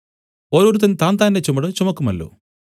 ഓരോരുത്തൻ താന്താന്റെ ചുമട് ചുമക്കുമല്ലോ